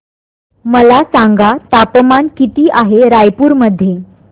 मला सांगा तापमान किती आहे रायपूर मध्ये